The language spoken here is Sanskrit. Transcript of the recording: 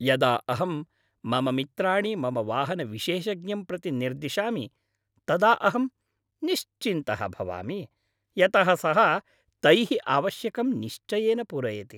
यदा अहं मम मित्राणि मम वाहनविशेषज्ञं प्रति निर्दिशामि तदा अहं निश्चिन्तः भवामि, यतः सः तैः आवश्यकं निश्चयेन पूरयति।